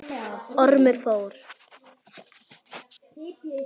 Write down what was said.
Ormur fór.